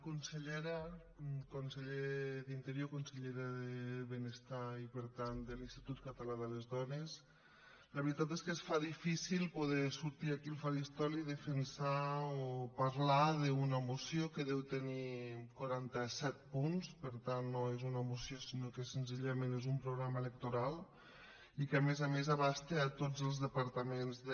consellera conseller d’interior consellera de benestar i per tant de l’institut català de les dones la veritat és que es fa difícil poder sortir aquí al faristol i defensar o parlar d’una moció que deu tenir quaranta set punts per tant no és una moció sinó que senzillament és un programa electoral i que a més a més abasta tots els departaments de